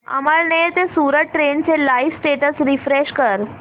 अमळनेर ते सूरत ट्रेन चे live status refresh कर